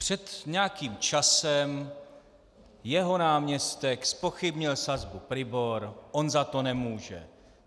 Před nějakým časem jeho náměstek zpochybnil sazbu PRIBOR - on za to nemůže.